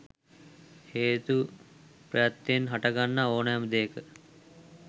හේතු ප්‍රත්‍යයෙන් හටගන්නා ඕනෑම දෙයක